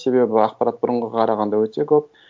себебі ақпарат бұрынға қарағанда өте көп